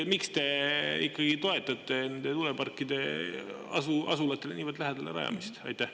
Miks te ikkagi toetate nende tuuleparkide asulatele niivõrd lähedale rajamist?